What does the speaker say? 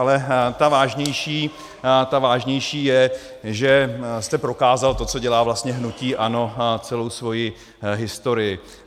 Ale ta vážnější je, že jste prokázal to, co dělá vlastně hnutí ANO celou svoji historii.